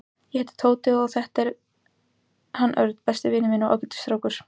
Ég heiti Tóti og þetta er hann Örn, besti vinur minn og ágætis strákur.